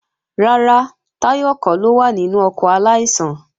Rárá, Táyọ̀ kọ́ ló wà nínú ọkọ̀ aláìsàn